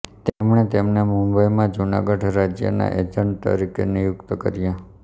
તેમણે તેમને મુંબઈમાં જૂનાગઢ રાજ્યના એજન્ટ તરીકે નિયુક્ત કર્યા